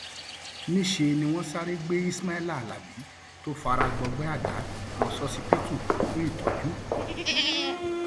níṣẹ ni wọn sáré gbé ismaila alábi tó fara gbọgbẹ àdá lọ ṣókíbítù fún ìtọjú